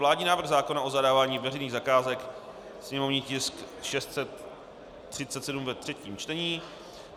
Vládní návrh zákona o zadávání veřejných zakázek /sněmovní tisk 637/ - třetí čtení